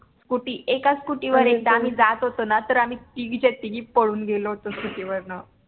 SCOOTY एका SCOOTY वर एकदा आम्ही जात होतो ना तर आम्ही तिघीच्या तिघी पळून गेलो होतो SCOOTY वरन